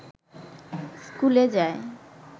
স্কুলে যায়